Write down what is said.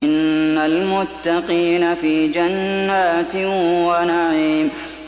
إِنَّ الْمُتَّقِينَ فِي جَنَّاتٍ وَنَعِيمٍ